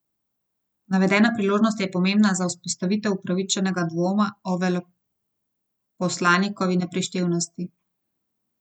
Navedena priložnost je pomembna za vzpostavitev upravičenega dvoma o veleposlanikovi neprištevnosti.